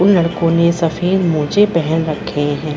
उन लड़कों ने सफेद मोज़े पहन रखे है।